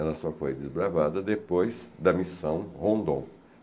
Ela só foi desbravada depois da missão Rondon.